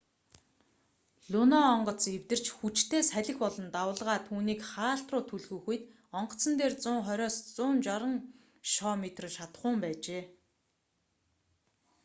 луно онгоц эвдэрч хүчтэй салхи болон давалгаа түүнийг хаалт руу түлхэх үед онгоцон дээр 120-160 шоо метр шатахуун байжээ